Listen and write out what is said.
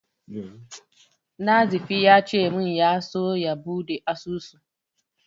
Nazifi ya ce min ya so ya buɗe asusu.